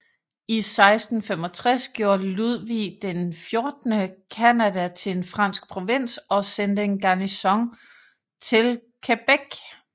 I 1665 gjorde Ludvig XIV Canada til en fransk provins og sendte en garnison til Québec